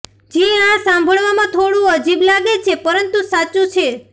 જી હાં સાંભળવામાં થોડું અજીબ લાગે છે પરંતુ આ સાચું છે